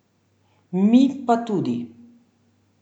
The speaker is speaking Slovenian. Mi pa tudi!